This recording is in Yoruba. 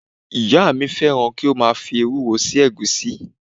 Ìyá mi fẹ́ràn kí ó máa fi ewúro sí ẹ̀gúsí.